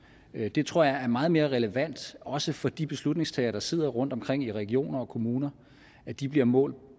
det tror jeg er meget mere relevant også for de beslutningstagere der sidder rundtomkring i regioner og kommuner at de bliver målt